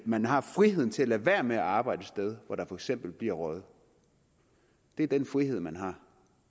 man har friheden til at lade være med at arbejde et sted hvor der for eksempel bliver røget det er den frihed man har